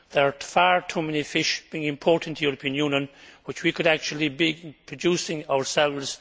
There are far too many fish being imported into the European Union which we could actually be producing ourselves.